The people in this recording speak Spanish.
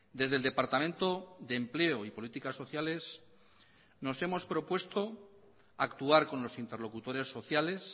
desde el departamento de empleo y políticas sociales nos hemos propuesto actuar con los interlocutores sociales